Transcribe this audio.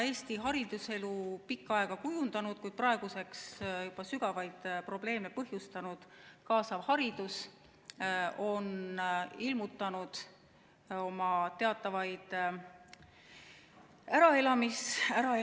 Eesti hariduselu pikka aega kujundanud, kuid praeguseks juba sügavaid probleeme põhjustanud kaasav haridus on ilmutanud teatavaid äraelamismärke.